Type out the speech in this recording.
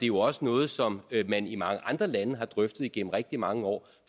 jo også noget som man i mange andre lande har drøftet igennem rigtig mange år